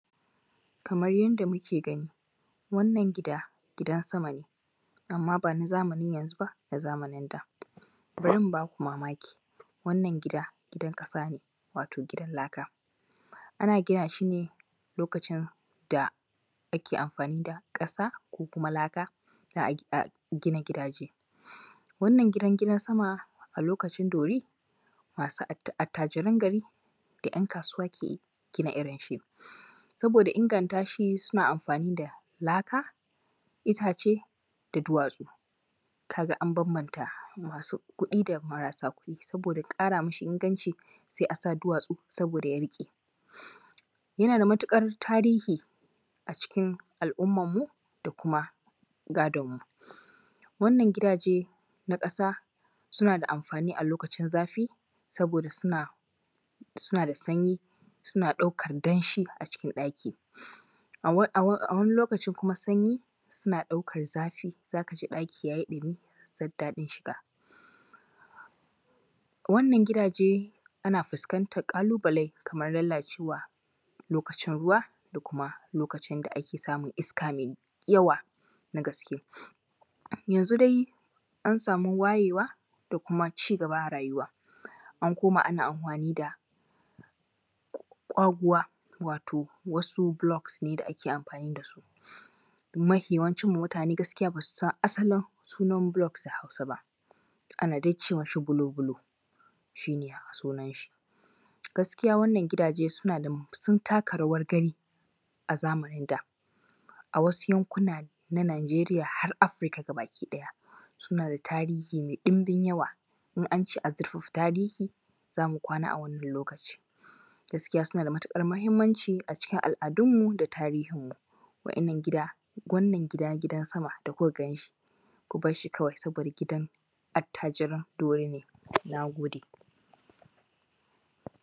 Kamar yadda muke gani wannan gidan sama ne, amma ban a zamanin yanzu ba, na zamanin da. Bari in ba ku mamaki wannan gida gidan ƙasa ne, wato gidan laka, ana gina shi ne a lokaci da ake amfani da ƙasa ko kuma laka za a gina gidaje. Wannan gidan gida sama, a lokacin dori masu attajiran gari da ‘yankasuwa ke gina irin shi, saboda inganta shi suna amfani da laka, itace da duwatsu. Ka ga an banbanta masu kuɗi da marasa kuɗi, saboda ƙara masa inganci sai a sa masa duwatsu saboda ya riƙe. Yana da matuƙar tarihi a cikin al’ummanmu da kuma gadonmu. Wannan gidaje na ƙasa suna da amfani a lokacin zafi, saboda suna da sanyi, suna ɗaukar danshi a cikin ɗaki, a wani lokaci kuma sanyi suna ɗaukar zafi, z zaka ji ɗaki yayi ɗumi zan daɗin shiga. Wannan gidaje, ana fuskantan ƙalubale kamar fuskan lalacewa lokacin ruwa da kuma lokacin da ake samun iska mai yawa na gaske. Yanzu dai an sami wayewa da kuma cigaba a rayuwa, an koma ana anfoni da ƙwaguwa wato wasu blocks ne da ake amfani amfani da su. Mafi yawan mutane ba mu san asalin sunan blocks da Haus ba, ana da ice masa bulo bulo, shi ne sunan shi. Gaskiya wannan gidaje sun taka rawar gani a zamanin da, a wasu yanakuna na Najeriys hsr Afirika gaba ɗaya. Suna da tarihi mai ɗumbin yawa, in an ce a zurfafa tarihi za mu kwana a wannan lokaci, gaskiya suna da matuƙar muhimmanci ga al’adunmu da tarihinmu Wa’yannan wannan gida gidan sama da kuka ganshi, ku bassi kawai saboda gidan attajiran mutanen dauri ne. nag ode..